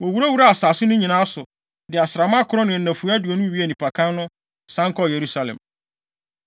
Wowurawuraa asase no nyinaa so, de asram akron ne nnafua aduonu wiee nnipakan no, san kɔɔ Yerusalem.